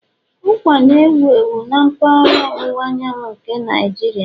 Ụkwa na-ewu ewu na mpaghara ọwụwa anyanwụ nke Nigeria